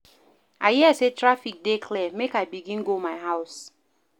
I hear sey traffic dey clear, make I begin go my house.